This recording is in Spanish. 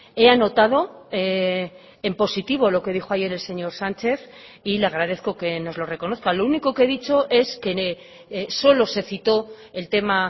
he anotado en positivo lo que dijo ayer el señor sánchez y le agradezco que nos lo reconozca lo único que he dicho es que solo se citó el tema